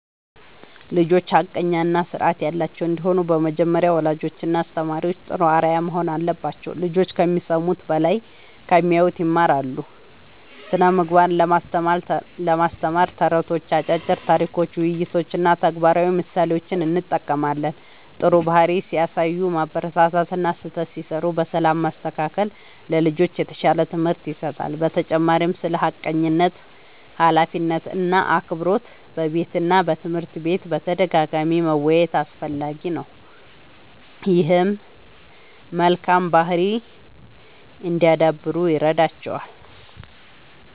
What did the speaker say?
ልጆች ሐቀኛ እና ስርዓት ያላቸው እንዲሆኑ በመጀመሪያ ወላጆችና አስተማሪዎች ጥሩ አርአያ መሆን አለባቸው። ልጆች ከሚሰሙት በላይ ከሚያዩት ይማራሉ። ስነ ምግባርን ለማስተማር ተረቶች፣ አጫጭር ታሪኮች፣ ውይይቶች እና ተግባራዊ ምሳሌዎችን እጠቀማለሁ። ጥሩ ባህሪ ሲያሳዩ ማበረታታት እና ስህተት ሲሠሩ በሰላም ማስተካከል ለልጆች የተሻለ ትምህርት ይሰጣል። በተጨማሪም ስለ ሐቀኝነት፣ ኃላፊነት እና አክብሮት በቤትና በትምህርት ቤት በተደጋጋሚ መወያየት አስፈላጊ ነው። ይህም መልካም ባህሪ እንዲያዳብሩ ይረዳቸዋል።